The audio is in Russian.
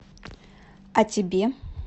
а тебе